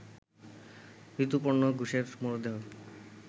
ঋতুপর্ণ ঘোষের মরদেহ